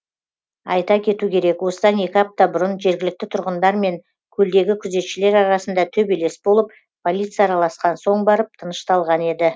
айта кету керек осыдан екі апта бұрын жергілікті тұрғындар мен көлдегі күзетшілер арасында төбелес болып полиция араласқан соң барып тынышталған еді